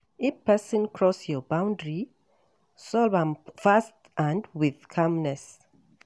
If person cross your boundary, solve am fast and with calmness